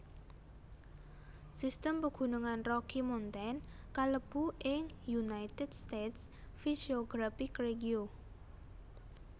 Sistem Pegunungan Rocky Mountain kalebu ing United States physiographic regio